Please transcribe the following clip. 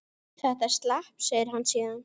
Þetta slapp, segir hann síðan.